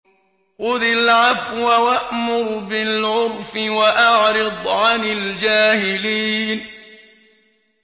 خُذِ الْعَفْوَ وَأْمُرْ بِالْعُرْفِ وَأَعْرِضْ عَنِ الْجَاهِلِينَ